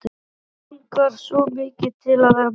Hann langar svo mikið til að vera með.